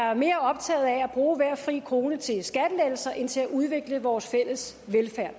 er mere optaget af at bruge hver en fri krone til skattelettelser end til at udvikle vores fælles velfærd